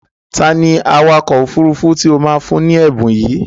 Ta ni awakọ̀ òfurufú tí o máa fún ní ẹ̀bùn yìí?